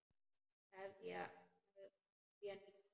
Hefja nýtt líf.